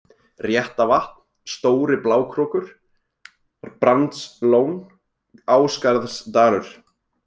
Réttavatn, Stóri-Blákrókur, Brandslón, Ásgarðsdalur